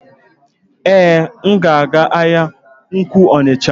Èé, m ga-aga ahịa ukwuu Onitsha.